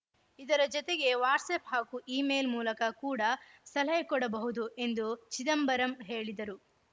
ಇದರ ಜತೆಗೆ ವಾಟ್ಸಪ್‌ ಹಾಗೂ ಇಮೇಲ್‌ ಮೂಲಕ ಕೂಡ ಸಲಹೆ ಕೊಡಬಹುದು ಎಂದು ಚಿದಂಬರಂ ಹೇಳಿದರು